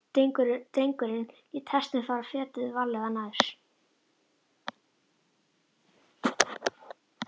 Drengurinn lét hestinn fara fetið, varlega, nær.